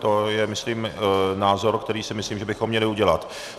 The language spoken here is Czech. To je myslím názor, který si myslím, že bychom měli udělat.